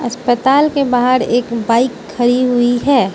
अस्पताल के बाहर एक बाइक खड़ी हुईं हैं।